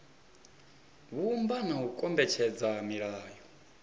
vhumba na u kombetshedza milayo